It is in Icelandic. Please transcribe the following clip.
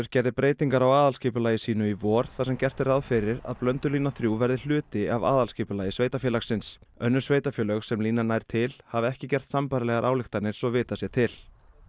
gerði breytingar á aðalskipulagi sínu í vor þar sem gert er ráð fyrir að Blöndulína þrjú verði hluti af aðalskipulagi sveitarfélagsins önnur sveitarfélög sem línan nær til hafa ekki gert sambærilegar ályktanir svo vitað sé til